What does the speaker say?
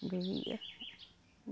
Doía.